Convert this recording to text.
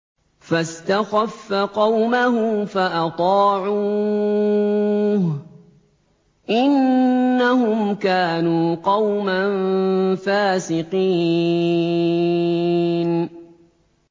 فَاسْتَخَفَّ قَوْمَهُ فَأَطَاعُوهُ ۚ إِنَّهُمْ كَانُوا قَوْمًا فَاسِقِينَ